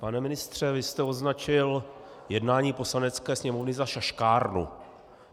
Pane ministře, vy jste označil jednání Poslanecké sněmovny za šaškárnu.